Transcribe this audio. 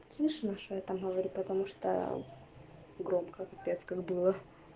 слышно что я там говорю потому что громко пипец как было